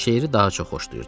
Şeiri daha çox xoşlayırdı.